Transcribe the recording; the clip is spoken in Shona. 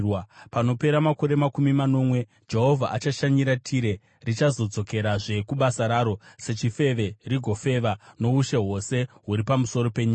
Panopera makore makumi manomwe, Jehovha achashanyira Tire. Richadzokerazve kubasa raro sechifeve rigofeva noushe hwose huri pamusoro penyika.